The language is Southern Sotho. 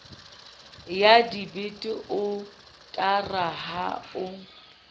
ya debite otara ha o